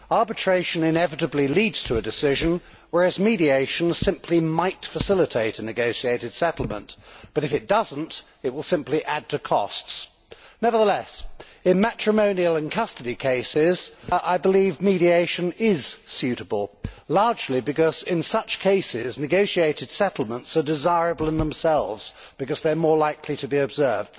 Arbitration inevitably leads to a decision, whereas mediation simply might facilitate a negotiated settlement but if it does not, it will simply add to costs. Nevertheless, in matrimonial and custody cases, I believe mediation is suitable, largely because in such cases negotiated settlements are desirable in themselves, as they are more likely to be observed.